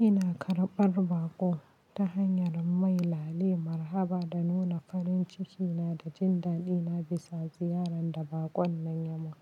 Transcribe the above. Ina karɓar baƙo ta hanyar mai lali marhaba da nuna farin ciki na da jin daɗi na bisa ziyarar da baƙon nan ya yi.